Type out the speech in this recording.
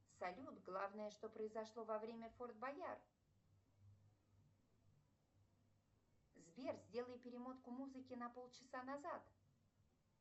салют главное что произошло во время форт боярд сбер сделай перемотку музыки на полчаса назад